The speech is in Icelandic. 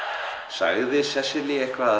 sagði Sesselía eitthvað